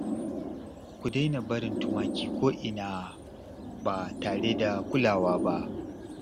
Ku daina barin tumaki ko'ina ba tare da kulawa ba